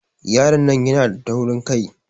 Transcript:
Yaron nan yana da taurin kai.